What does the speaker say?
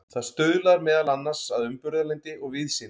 það stuðlar meðal annars að umburðarlyndi og víðsýni